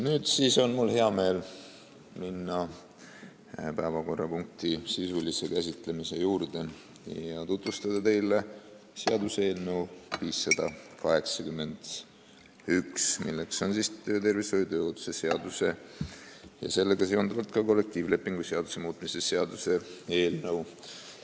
Nüüd on mul hea meel minna päevakorrapunkti sisulise käsitlemise juurde ja tutvustada teile seaduseelnõu 581, s.o töötervishoiu ja tööohutuse seaduse ning kollektiivlepingu seaduse muutmise seaduse eelnõu.